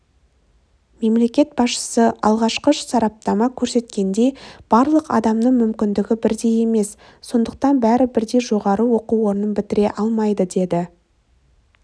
мемлекет басшысы алғашқы сараптама көрсеткендей барлық адамның мүмкіндігі бірдей емес сондықтан бәрі бірдей жоғары оқу орнын бітіре алмайды деді